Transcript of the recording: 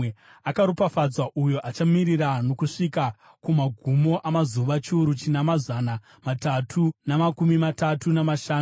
Akaropafadzwa uyo achamirira nokusvika kumagumo amazuva chiuru china mazana matatu namakumi matatu namashanu.